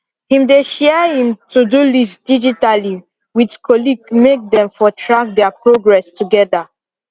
him dey share him todo lost digitally with colleague make them for track their progress together